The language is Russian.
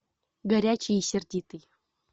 горячий и сердитый